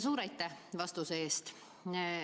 Suur aitäh vastuse eest!